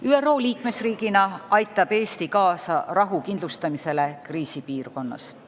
ÜRO liikmesriigina aitab Eesti kaasa rahu kindlustamisele kriisipiirkonnas.